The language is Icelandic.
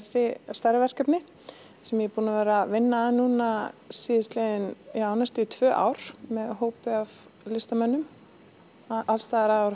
stærra verkefni sem ég er búin að vera að vinna að núna síðastliðin tvö ár með hópi af listamönnum alls staðar að úr